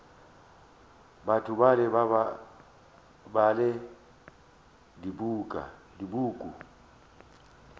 batho bale ba bala dipuku